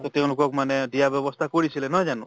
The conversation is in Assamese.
তʼ তেওঁলোকক মানে দিয়া ব্য়ৱস্থা কৰিছিলে নহয় জানো?